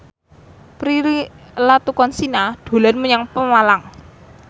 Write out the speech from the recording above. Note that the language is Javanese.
Prilly Latuconsina dolan menyang Pemalang